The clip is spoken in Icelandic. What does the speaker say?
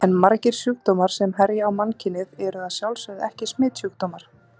En margir sjúkdómar sem herja á mannkynið eru að sjálfsögðu ekki smitsjúkdómar.